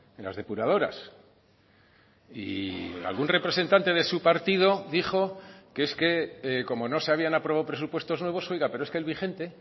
en las depuradoras y algún representante de su partido dijo que es que como no se habían aprobado presupuestos nuevos oiga pero es que el vigente